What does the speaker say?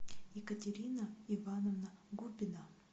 екатерина ивановна губина